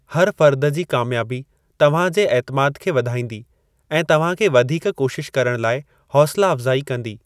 हर फ़र्द जी कामयाबी तव्हां जे ऐतिमाद खे वधाईंदी ऐं तव्हां खे वधीक कोशिश करण लाइ हौसला अफ़्ज़ाई कंदी।